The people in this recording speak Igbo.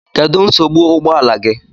Kedu nsogbu ụgbọ ala gị?